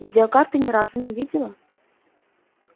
видеокарты ни разу не видела